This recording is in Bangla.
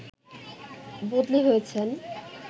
বদলি হয়েছেন